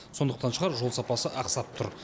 сондықтан шығар жол сапасы ақсап тұр